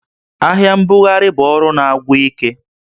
Ahịa mbugharị bụ ọrụ na-agwụ ike